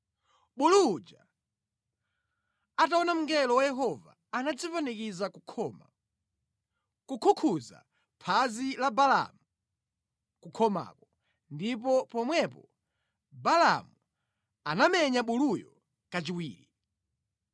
Bulu uja ataona mngelo wa Yehova anadzipanikiza ku khoma, kukhukhuza phazi la Balaamu kukhomako. Ndipo pomwepo Balaamu anamenya buluyo kachiwiri.